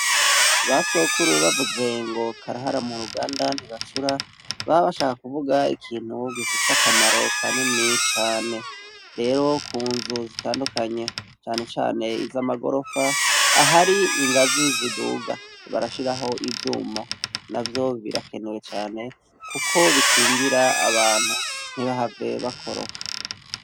Basokuru bavuze ngo karahara muruganda ntibacura baba bashaka kuvuga ikintu gifise akamaro kanini cane, rero kunzu zitandukanye cane cane izamagorofa aharingazi ziduga barashiraho ivyuma navyo birakenewe cane kuko bikingira abantu ntibahave bakoroka.